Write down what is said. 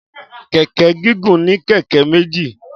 Kẹ̀kẹ́ gígùn ní kẹ̀kẹ́ méjì